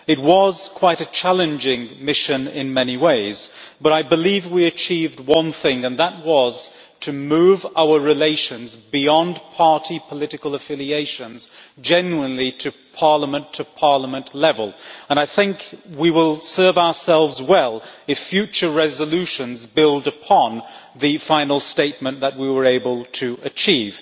It was quite a challenging mission in many ways, but I believe we achieved one thing, and that was to move our relations beyond party political affiliations to a genuinely parliament to parliament level, and I think we will serve ourselves well if future resolutions build upon the final statement that we were able to achieve.